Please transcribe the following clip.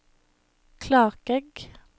Klakegg